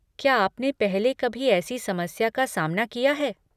क्या आपने पहले कभी ऐसी समस्या का सामना किया है?